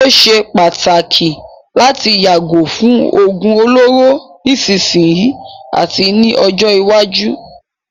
Ó ṣé pàtàkì láti yàgò fún òógún olóró nísìsiyìí àti ní ọjọ́ iwájú.